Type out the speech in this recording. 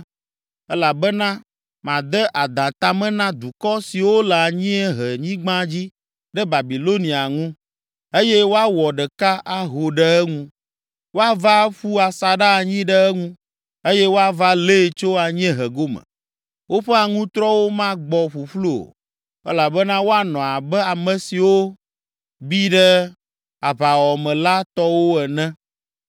elabena made adã ta me na dukɔ siwo le anyiehenyigba dzi ɖe Babilonia ŋu eye woawɔ ɖeka aho ɖe eŋu. Woava aƒu asaɖa anyi ɖe eŋu eye woava lée tso anyiehe gome. Woƒe aŋutrɔwo magbɔ ƒuƒlu o, elabena woanɔ abe ame siwo bi ɖe aʋawɔwɔ me la tɔwo ene.